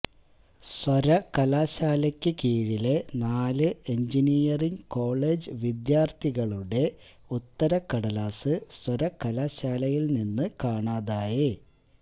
സര്വകലാശാലക്ക് കീഴിലെ നാല് engineering college വിദ്യാര്ഥികളുടെ ഉത്തരക്കടലാസ് സര്വകലാശാലയില് നിന്ന് കാണാതായ